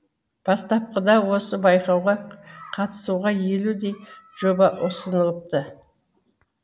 бастапқыда осы байқауға қатысуға елудей жоба ұсынылыпты